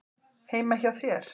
Heima hjá þér?